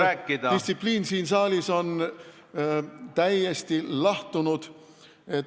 Ma saan aru, et distsipliin siin saalis on täiesti kadunud.